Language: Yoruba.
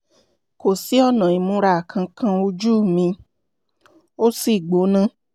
kò sí ọ̀nà ìmúra kankan ojú mi ò sì gbóná